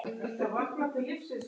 Á þeim lá hún aldrei.